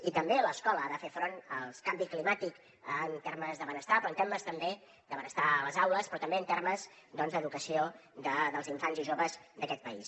i també l’escola ha de fer front al canvi climàtic en termes de benestar però en termes també de benestar a les aules però també en termes d’educació dels infants i joves d’aquest país